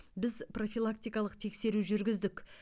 біз профилактикалық тексеру жүргіздік